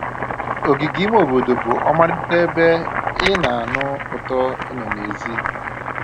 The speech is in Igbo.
Ogige ime obodo bụ ọmarịcha ebe ị na-anụ ụtọ ịnọ n'èzí